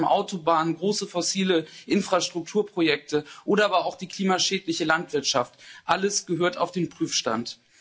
Flughäfen, Autobahnen, große fossile Infrastrukturprojekte oder aber auch die klimaschädliche Landwirtschaft alles gehört auf den Prüfstand.